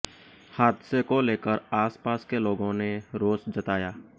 हादसे को लेकर आस पास के लोगों ने रोष जताया